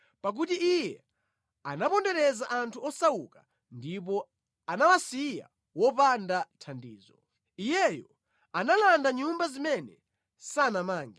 Pakuti iye anapondereza anthu osauka ndipo anawasiya wopanda thandizo; iyeyo analanda nyumba zimene sanamange.